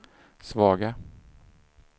svaga